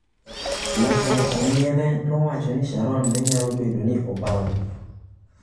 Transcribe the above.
Laktar Omiele nowacho ni Sharon ne nyalo bedo ni obamb.